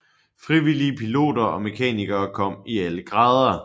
Frivillige piloter og mekanikere kom i alle grader